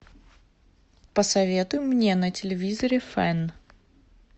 посоветуй мне на телевизоре фэн